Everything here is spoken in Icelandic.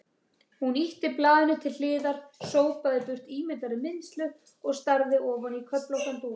Hún ýtti blaðinu til hliðar, sópaði burt ímyndaðri mylsnu og starði ofan í köflóttan dúk.